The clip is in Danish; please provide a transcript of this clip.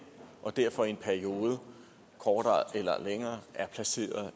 og derfor i en periode kortere eller længere er placeret